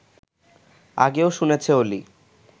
আগেও শুনেছে অলি